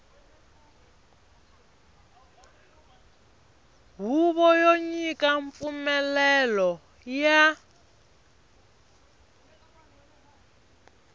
huvo yo nyika mpfumelelo ya